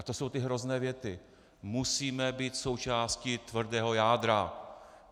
A to jsou ty hrozné věty: Musíme být součástí tvrdého jádra!